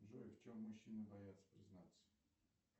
джой в чем мужчины боятся признаться